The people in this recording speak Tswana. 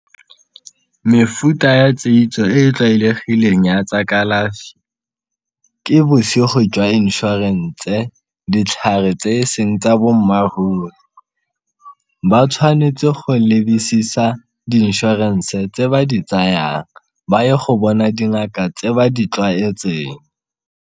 Mefuta ya e e tlwaelegileng ya tsa kalafi, ke bosigo jwa inšhorense ditlhare tse e seng tsa bo mmaruri, ba tshwanetse go lebisisa di-inšhorense tse ba di tsayang ba ye go bona dingaka tse ba di tlwaetseng.